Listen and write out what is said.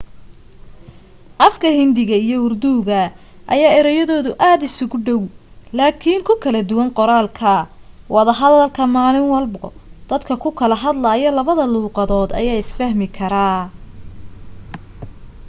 afka hindiga iyo urduga ayaa ereyadooda aad isugu dhaw laakin ku kala duwan qoraalka wada hadalka maalin walbo dadka ku kala hadlaayo labada luuqad ayaa isfahmi karaa